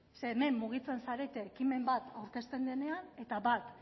hemen mugitzen zarete ekimen bat aurkezten denean eta bat